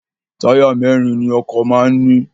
Táyà mẹ́ẹ́rin ni ọkọ̀ máa ń ní